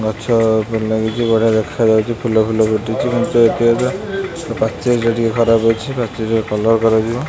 ଗଛଅ ଭଲ ଲାଗୁଚି। ବଢ଼ିଆ ଦେଖାଯାଉଚି। ଫୁଲ ଫୁଲ ଫୁଟିଚି। ଏବଂ ସେ ପାଚେରୀ ଟା ଟିକେ ଖରାପ ଅଛି। ପାଚେରୀର କଲର୍ କରାଯିବ।